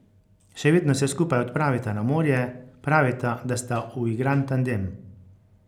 Še vedno se skupaj odpravita na morje, pravita, da sta uigran tandem.